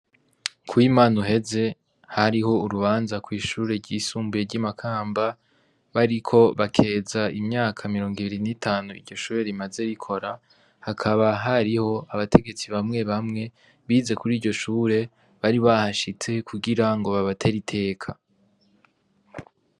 K'uwimana uheze hariho urubanza kw'ishure ryisumbuye ry'imakamba, bariko bakeza imyaka mirongibiri n'itanu iryo shure rimaze rikora, hakaba hariho abategetsi bamwe bamwe bize kur'iryo shure, bari bahashitse kugirango babatere iteka.